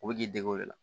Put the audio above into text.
U bɛ k'i dege o de la